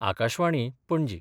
Akashvani, Panaji